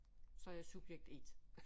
Så er jeg subjekt 1